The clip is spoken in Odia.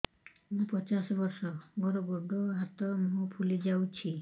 ମୁ ପଚାଶ ବର୍ଷ ମୋର ଗୋଡ ହାତ ମୁହଁ ଫୁଲି ଯାଉଛି